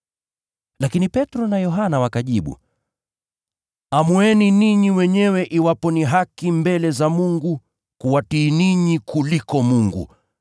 Lakini Petro na Yohana wakajibu, “Amueni ninyi wenyewe iwapo ni haki mbele za Mungu kuwatii ninyi kuliko kumtii Mungu.